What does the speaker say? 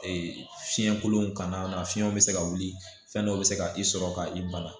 Ee fiɲɛ kolon kana na fiɲɛ bɛ se ka wuli fɛn dɔ bɛ se ka i sɔrɔ ka i bana